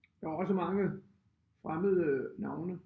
Der var også mange fremmede navne